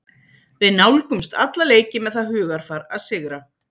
Við nálgumst alla leiki með það hugarfar að sigra.